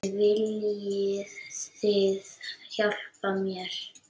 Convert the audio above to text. En viljið þið hjálpa mér?